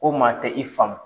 Ko maa tɛ i faamu.